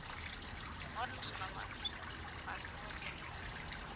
ஒரு நிமிஷம் ma'am ஒரு நிமிஷம்